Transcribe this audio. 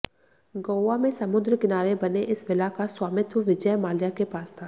गोवा में समुद्र किनारे बने इस विला का स्वामित्व विजय माल्या के पास था